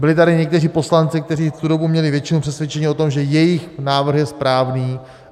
Byli tady někteří poslanci, kteří v tu dobu měli většinu, přesvědčeni o tom, že jejich návrh je správný.